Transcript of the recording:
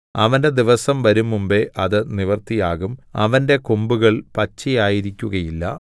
അവന്റെ ദിവസം വരുംമുമ്പ് അത് നിവൃത്തിയാകും അവന്റെ കൊമ്പുകൾ പച്ചയായിരിക്കുകയില്ല